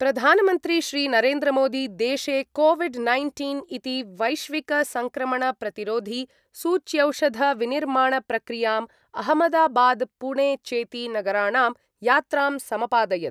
प्रधानमन्त्री श्री नरेन्द्रमोदी देशे COVID nineteen इति वैश्विकसङ्क्रमणप्रतिरोधी सूच्यौषधविनिर्माणप्रक्रियाम् अहमदाबाद्पुणे चेति नगराणां यात्रां समपादयत्।